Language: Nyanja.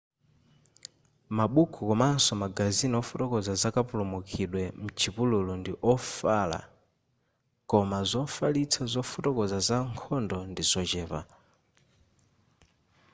mabuku komanso magazini ofotokoza zakapulumukidwe m'chipululu ndi ofala koma zofalitsa zofotokoza za nkhondo ndizochepa